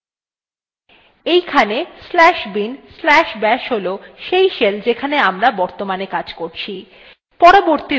এইখানে slash bin slash bash হল সেই shell যেখানে আমরা বর্তমানে কাজ করছি